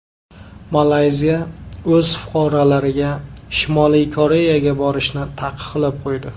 Malayziya o‘z fuqarolariga Shimoliy Koreyaga borishni taqiqlab qo‘ydi.